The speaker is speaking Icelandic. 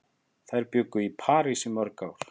Þær bjuggu í París í mörg ár.